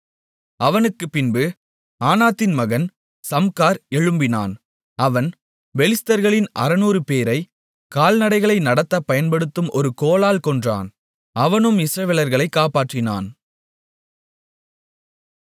அவனுக்குப்பின்பு ஆனாத்தின் மகன் சம்கார் எழும்பினான் அவன் பெலிஸ்தர்களில் 600 பேரை கால்நடைகளை நடத்த பயன்படுத்தப்படும் ஒரு கோலால் கொன்றான் அவனும் இஸ்ரவேலர்களைக் காப்பாற்றினான்